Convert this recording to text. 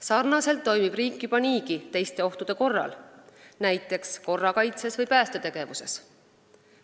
Samamoodi toimib riik juba niigi teiste ohtude korral, näiteks korrakaitses või päästetegevuses.